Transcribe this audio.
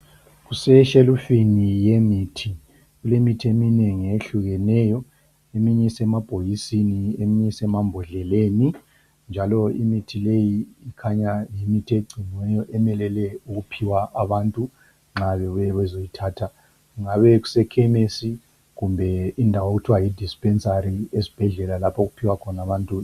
Kuseshelufuni yemithi, kulemithi eminengi eyehlukeneyo. Eminye isemabhokisini , eminye isemambhodleleni, njalo imithi leyi ikhanya yimithi egciniweyo emelele ukuphiwa abantu nxa bebuye bezoyithatha. Kungabe kuse khemesi kumbe indawo okuthiwa yi dispensary esibhedlela lapho okuphiwa khona abantu.